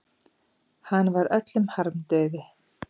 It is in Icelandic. Hann var öllum harmdauði.